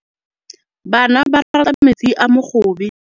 Bana ba rata metsi a mogobe.